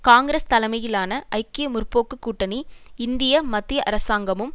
காங்கிரஸ் தலைமையிலான ஐக்கிய முற்போக்கு கூட்டணி இந்திய மத்திய அரசாங்கமும்